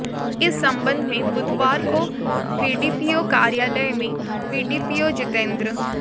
इस संबंध में बुधवार को बीडीपीओ कार्यालय में बीडीपीओ जितेंद्र